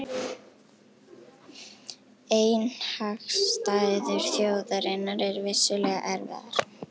Efnahagsaðstæður þjóðarinnar eru vissulega erfiðar